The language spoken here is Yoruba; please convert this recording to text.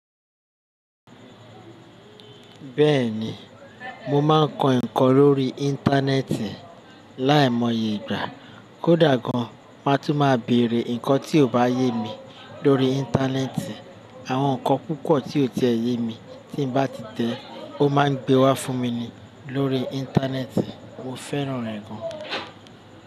Bẹ́ẹ̀ni, mo máa ń kọ ǹkan lórí Íńtánẹ́ẹ̀tì láìmọye ìgbà. Kódà gan má tún máa bèèrè ǹkan tí ò bá yé mi lórí Íńtánẹ́ẹ̀tì. Àwọn ǹkan púpọ̀ tí ò tiẹ̀ yé mi tí bá ti tẹ̀ o máa ń gbé wá fún mi ni lórí Íńtánẹ́ẹ̀tì. Mo fẹ́ràn rẹ̀ gan.